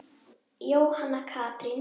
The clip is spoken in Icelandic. Jóhanna Katrín.